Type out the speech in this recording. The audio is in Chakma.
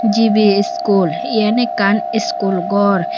gibi iskul yen ekkan iskul gor.